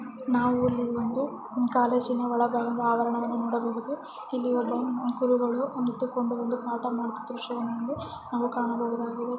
ನಾವು ಇಲ್ಲಿ ಒಂದು ಕಾಲೇಜಿನ ಒಳಗಡೆಯಿಂದ ಆವರಣವನ್ನು ನೋಡಬಹುದು ಇಲ್ಲಿ ಒಬ್ಬವ ಗುರುಗಳು ನಿಂತುಕೊಂಡು ಒಂದು ಪಾಠ ಮಾಡ್ತಿರುವುದು ಸಹ ನಾವು ಕಾಣಬಹುದಾಗಿದೆ .